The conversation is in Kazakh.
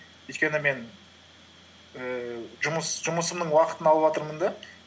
өйткені мен ііі жұмысымның уақытын алыватырмын да